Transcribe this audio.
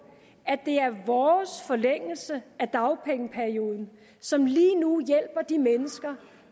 at det er vores forlængelse af dagpengeperioden som lige nu hjælper de mennesker